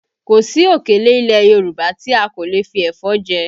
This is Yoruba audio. Kò sí òkèlè ilẹ̀ Yorùbá ti a kò lè fi ẹ̀fọ́ jẹ